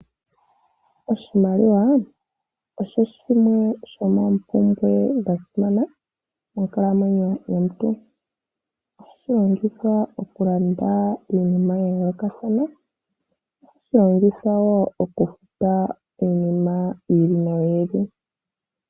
Oshimaliwa osho shimwe shomoompumbwe dha simana monkalamwenyo yomuntu. Ohashi longithwa okulanda iinima ya yoolokathana, ohashi longithwa wo okufuta iinima yi ili noyi ili.